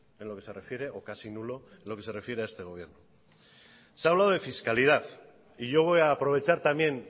en lo que se refiere o casi nulo en lo que se refiere a este gobierno se ha hablado de fiscalidad y yo voy a aprovechar también